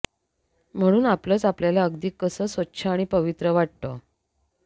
म्हणून आपलंच आपल्याला अगदी कसं स्वच्छ आणि पवित्र वाटतं